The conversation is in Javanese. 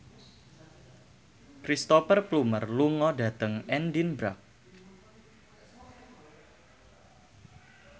Cristhoper Plumer lunga dhateng Edinburgh